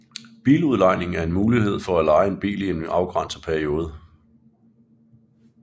Biludlejning er en mulighed for at leje en bil i en afgrænset periode